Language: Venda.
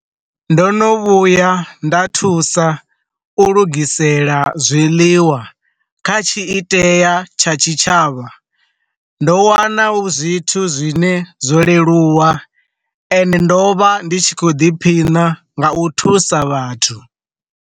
Ndo no vhuya nda thusa u lugisela zwiḽiwa kha tshi itea tsha tshitshavha, ndo wana zwithu zwine zwo leluwa ende ndo vha ndi tshi kho ḓiphina nga u thusa vhathu.